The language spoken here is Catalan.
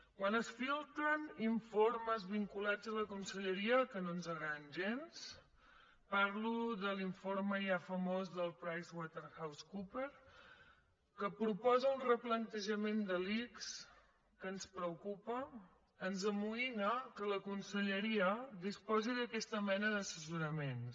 quan es filtren informes vinculats amb la conselleria que no ens agraden gens parlo de l’informe ja famós de pricewaterhousecoopers que proposa un replantejament de l’ics que ens preocupa ens amoïna que la conselleria disposi d’aquesta mena d’assessoraments